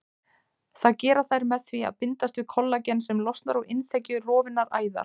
Það gera þær með því að bindast við kollagen sem losnar úr innþekju rofinnar æðar.